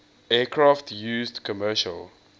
aircraft used commercial